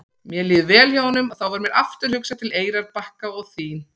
Mér líður vel hjá honum og þá varð mér aftur hugsað til Eyrarbakka og þín.